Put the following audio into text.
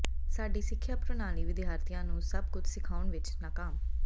ਸਾਡੀ ਸਿੱਖਿਆ ਪ੍ਰਣਾਲੀ ਵਿਦਿਆਰਥੀਆਂ ਨੂੰ ਸਭ ਕੁਝ ਸਿਖਾਉਣ ਵਿੱਚ ਨਾਕਾਮ